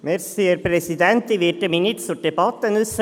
Ich werde mich nicht zur Debatte äussern.